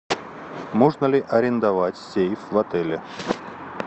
можно ли арендовать сейф в отеле